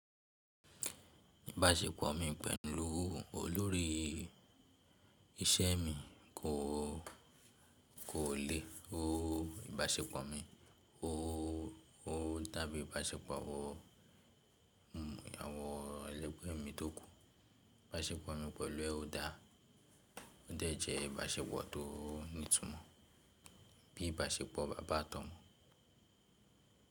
Ìbáṣepọ̀ mi pẹ̀lú olórí iṣẹ́ mi kò leè. Ó ìbáṣepọ̀ mi, ó dàbí ìbáṣepọ̀ àwọn àwọn ẹlẹ́gbẹ́ mi tó kù. Ìbáṣepọ̀ mi pẹ̀lú ọ́ dá jẹ́ ìbáṣepọ̀ tó ní ìtumọ̀ bí ìbáṣepọ̀ bàbá àtọ̀mọ̀.